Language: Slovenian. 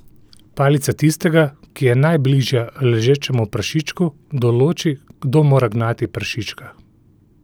Palica tistega, ki je najbližja ležečemu prašičku, določi, kdo mora gnati prašička.